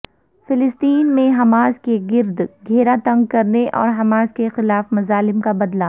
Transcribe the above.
فلسطین میں حماس کے گرد گھیرا تنگ کرنے اور حماس کے خلاف مظالم کا بدلہ